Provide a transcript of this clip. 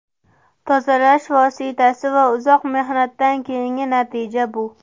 Tozalash vositasi va uzoq mehnatdan keyingi natija bu”.